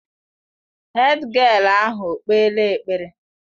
Hédgịél ahụ okpeela ekpere?